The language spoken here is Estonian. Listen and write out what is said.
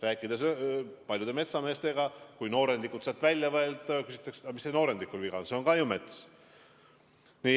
Rääkides paljude metsameestega, siis kui noorendikud on sealt välja võetud, küsitakse, aga mis sel noorendikul viga on, see on ju ka mets.